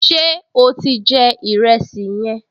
Ṣé o ti jẹ ìrẹsì yẹn?